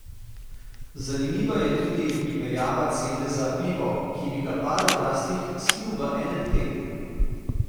Zanimiva je tudi primerjava cene za pivo, ki bi ga par odraslih spil v enem tednu.